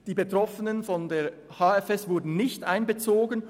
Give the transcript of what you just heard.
Die Betroffenen von der Hotelfachschule Thun wurden nicht einbezogen.